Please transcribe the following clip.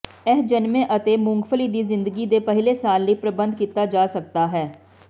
ਇਹ ਜਨਮੇ ਅਤੇ ਮੁੰਗਫਲੀ ਦੀ ਜ਼ਿੰਦਗੀ ਦੇ ਪਹਿਲੇ ਸਾਲ ਲਈ ਪ੍ਰਬੰਧ ਕੀਤਾ ਜਾ ਸਕਦਾ ਹੈ